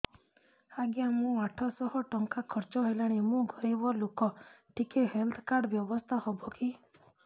ଆଜ୍ଞା ମୋ ଆଠ ସହ ଟଙ୍କା ଖର୍ଚ୍ଚ ହେଲାଣି ମୁଁ ଗରିବ ଲୁକ ଟିକେ ହେଲ୍ଥ କାର୍ଡ ବ୍ୟବସ୍ଥା ହବ କି